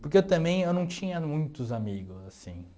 Porque eu também eu não tinha muitos amigos, assim